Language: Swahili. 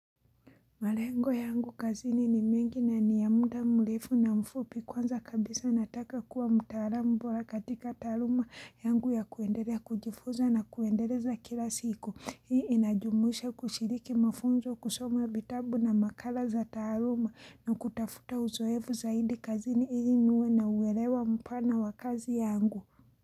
Marengo yangu kazini ni mengi na ni ya mda mrefu na mfupi kwanza kabisa nataka kuwa mtaalamu bora katika taruma yangu ya kuendelea kujifuza na kuendeleza kila siku. Hii inajumuisha kushiriki mafunzo kusoma vitabu na makala za taruma na kutafuta uzoevu zaidi kazini ili niwe na uelewa mpana wakazi yangu.